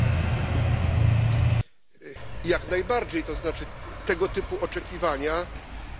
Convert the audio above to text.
Jak najbardziej, to znaczy tego typu oczekiwania powinny być rozważone.